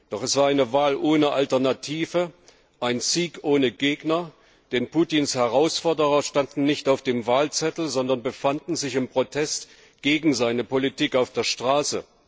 Doch es war eine Wahl ohne Alternative, ein Sieg ohne Gegner, denn Putins Herausforderer standen nicht auf dem Wahlzettel, sondern befanden sich im Protest gegen seine Politik auf der Straße.